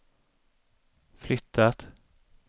flyttat